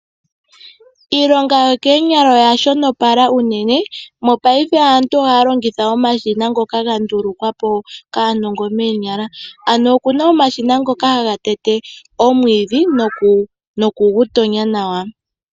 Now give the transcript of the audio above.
Iilonga yokoonyala oya shonopala unene mopaife aantu ohaya longitha omashina ngoka ga ndulukwa po kaanongo moonyala. Oku na omashina ngoka haga tete nokugu tonya nawa.